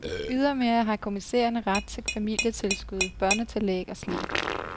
Ydermere har kommissærerne ret til familietilskud, børnetillæg og sligt.